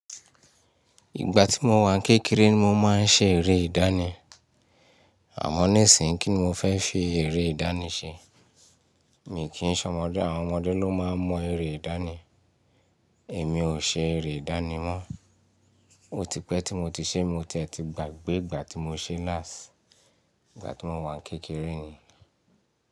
Ìgbà tí mo wà ń kékeré ni mo máa ń ṣe ère ìdáni. Àmọ́ nísìnyí kín mo fẹ́ fi ère ìdáni ṣe. Mí kí ń sọ ọmọdé, àwọn ọmọdé ló máa ń mọ ère ìdáni. Èmi ò ṣe ère ìdánì mọ́. Ó ti pẹ́ tí mo ti ṣé, mo ti ẹ̀ ti gbàgbé ìgbà tí mo ṣe last. Ìgbà tí mo wà kékeré ni.